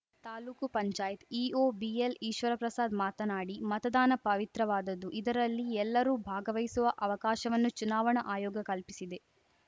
taluk panchayat EO ಬಿಎಲ್‌ಈಶ್ವರಪ್ರಸಾದ್‌ ಮಾತನಾಡಿ ಮತದಾನ ಪವಿತ್ರವಾದದ್ದು ಇದರಲ್ಲಿ ಎಲ್ಲರೂ ಭಾಗವಹಿಸುವ ಅವಕಾಶವನ್ನು ಚುನಾವಣಾ ಆಯೋಗ ಕಲ್ಪಿಸಿದೆ